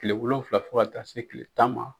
Kile wolofila fo ka taa se kile tan ma.